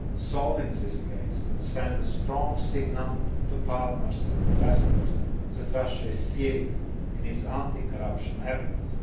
them. Solving this case would send a strong signal to partners and investors that Russia is serious in its anti corruption efforts.